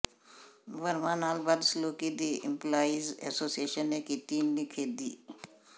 ਵਰਮਾ ਨਾਲ ਬਦਸਲੂਕੀ ਦੀ ਇੰਪਲਾਈਜ਼ ਐਸੋਸੀਏਸ਼ਨ ਨੇ ਕੀਤੀ ਨਿਖੇਧੀ